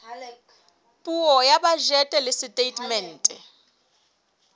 puo ya bajete le setatemente